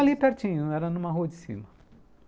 Ali pertinho, era numa rua de cima.